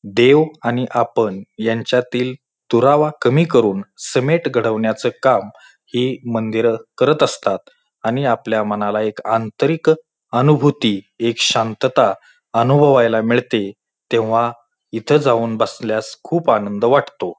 देव आणि आपण यांच्यातील दुरावा कमी करून समेट घडवण्याच काम हे मंदिरं करत असतात आणि आपल्या मनाला एक आंतरिक अनुभूति एक शांतता अनुभवायला मिळते तेव्हा इथ जाऊन बसल्यास खूप आनंद वाटतो.